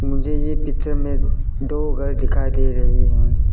मुझे ये पिक्चर में दो घर दिखाई दे रहे हैं।